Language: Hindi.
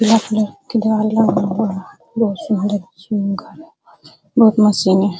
बहोत मशीन हैं।